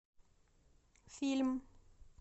фильм